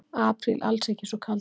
Apríl alls ekki svo kaldur